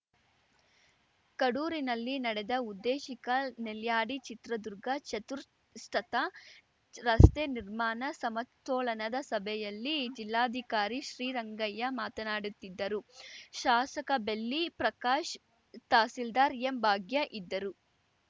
ಕಡೂರಿನಲ್ಲಿ ನಡೆದ ಉದ್ದೇಶಿಕ ನೆಲ್ಯಾಡಿ ಚಿತ್ರದುರ್ಗ ಚತುರ್ಷತ ರಸ್ತೆ ನಿರ್ಮಾಣ ಸಮತೋಲನದ ಸಭೆಯಲ್ಲಿ ಜಿಲ್ಲಾಧಿಕಾರಿ ಶ್ರೀರಂಗಯ್ಯ ಮಾತನಾಡತ್ತಿದ್ದರು ಶಾಸಕ ಬೆಳ್ಳಿ ಪ್ರಕಾಶ್‌ ತಹಸೀಲ್ದಾರ್‌ ಎಂಭಾಗ್ಯ ಇದ್ದರು